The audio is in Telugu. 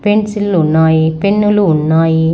పెన్సిల్ పెన్నులు ఉన్నాయి.